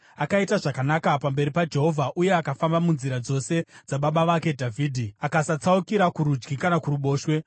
Akaita zvakanaka pamberi paJehovha uye akafamba munzira dzose dzababa vake Dhavhidhi, akasatsaukira kurudyi kana kuruboshwe.